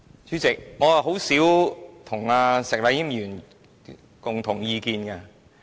主席，我跟石禮謙議員很少持相同意見。